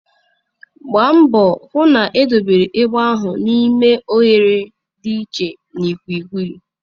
Gbaa mbọ hụ na edobere egbe ahụ n'ime oghere dị iche na ikwiikwii.